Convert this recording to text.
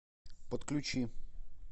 подключи